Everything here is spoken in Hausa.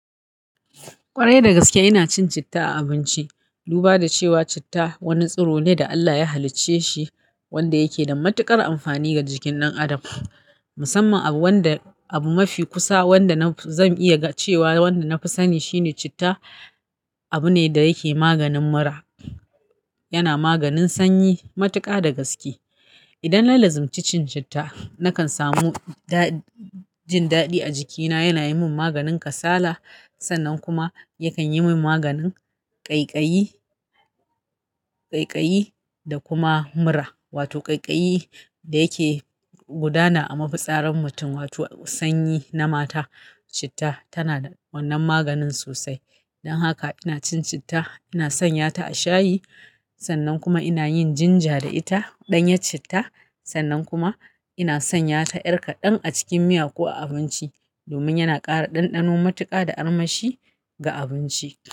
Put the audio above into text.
Ƙwarai dagaske ina cin citta a abinci, duba da cewa citta wani tsiro ne da Allah ya halicce shi wanda yake da matuƙar amfani ga jikin ɗan adam. Musamman abu wanda abu mafi kusa wanda zan iya cewa wanda na fi sani shine citta abu ne da yake maganin mura, yana maganin sanyi matuƙa dagaske. Idan nallazimci cin citta nakan samu jin daɗi a jikina yana yi min maganin kasala sannan kuma yakan yi min maganin ƙaiƙayi, ƙaiƙayi da kuma mura. Wato ƙaiƙayi da yake gudana a mafitsaran mutum wato sanyi na mata citta tana da wannan maganin sosai. Dan haka ina cin citta, ina sanya ta a shayi sannan kuma ina yin jinja da ita ɗanya citta sannan kuma ina sanya ta ƴar kaɗan a cikin miya ko a abinci domin yana ƙara ɗanɗano matuƙa da armashi ga abinci.